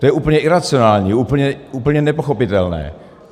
To je úplně iracionální, úplně nepochopitelné!